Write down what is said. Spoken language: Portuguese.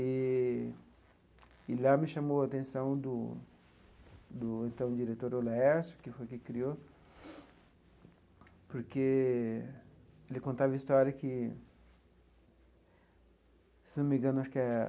Eee e lá me chamou a atenção do do então diretor o Laercio, que foi quem criou, porque ele contava a história que, se não me engano, acho que é